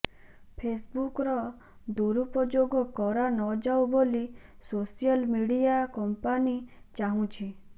ଫେସବୁକର୍ ଦୁରୁପୋଯୋଗ କରାନଯାଉ ବୋଲି ସୋସିଆଲ ମିଡ଼ିଆ କମ୍ପାନି ଚାହୁଁଛି